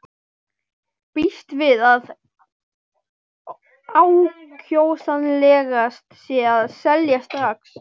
Býst við að ákjósanlegast sé að selja strax.